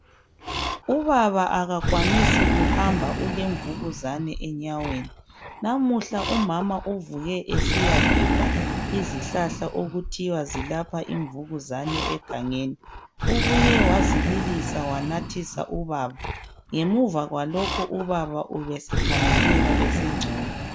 Ubaba akakwanisi kuhamba ulemvukuzane enyaweni namuhla umama uvuke esiyagebha izihlahla okuthiwa zilapha imvukuzane egangeni ubuye wazibilisa wanathisa ubaba ngemuva kwalokho ubaba ubesekhangela esengcono